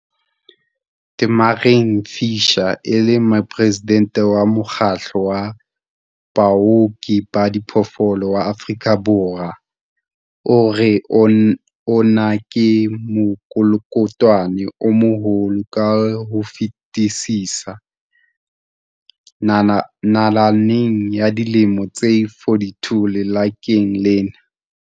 Tamarin Fisher, e leng Moporesidente wa Mokgatlo wa Baoki ba Diphoofolo wa Afrika Borwa, o re ona ke mokolokotwane o moholo ka ho fetisisa nalaneng ya dilemo tse 42 lekaleng lena.